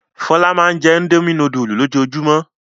Fọlá máa ń jẹ́ Indomie núdúlù lójoojúmọ́.